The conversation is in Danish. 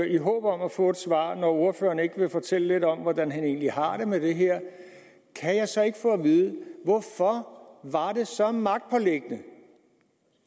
i håb om at få et svar når ordføreren ikke vil fortælle lidt om hvordan han egentlig har det med det her kan jeg så ikke få at vide hvorfor var det så magtpåliggende